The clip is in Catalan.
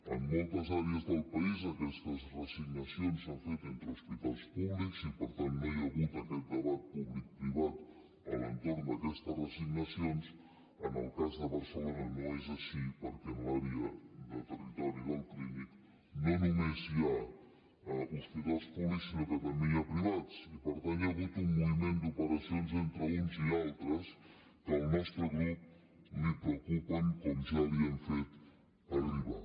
en moltes àrees del país aquestes reassignacions s’han fet entre hospitals públics i per tant no hi ha hagut aquest debat públicprivat a l’entorn d’aquestes reassignacions en el cas de barcelona no és així perquè a l’àrea de territori del clínic no només hi ha hospitals públics sinó que també n’hi ha de privats i per tant hi ha hagut un moviment d’operacions entre uns i altres que al nostre grup els preocupen com ja li hem fet arribar